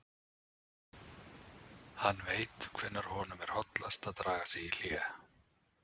Hann veit hvenær honum er hollast að draga sig í hlé.